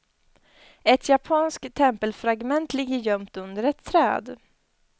Ett japanskt tempelfragment ligger gömt under ett träd.